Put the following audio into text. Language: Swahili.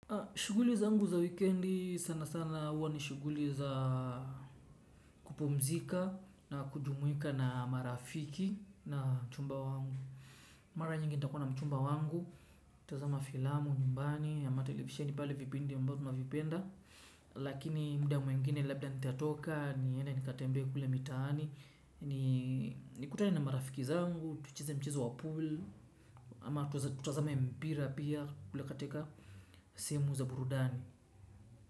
Shuguli zangu za weekendi sana sana huwa ni shuguli za kupumzika na kujumuika na marafiki na mchumba wangu. Mara nyingi nitakuwa na mchumba wangu, tazama filamu, nyumbani, ama talivisheni pale vipindi ambao tunavipenda. Lakini mda mwengine labda nitatoka, niende nikatembe kule mitani, nikutane na marafiki zangu, tucheze mchezo wa pool, ama tutazame mpira pia kule katika semu za burudani.